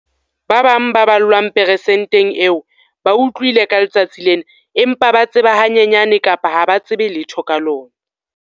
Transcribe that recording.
Ba bang ba ballwang persenteng eo ba utlwile ka letsatsi lena empa ba tseba hanyenyane kapa ha ba tsebe letho ka lona.